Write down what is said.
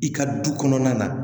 I ka du kɔnɔna na